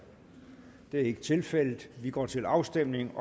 det er ikke tilfældet og vi går til afstemning